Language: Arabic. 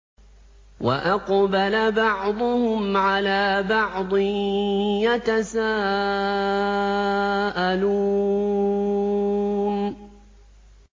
وَأَقْبَلَ بَعْضُهُمْ عَلَىٰ بَعْضٍ يَتَسَاءَلُونَ